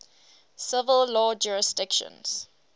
civil law jurisdictions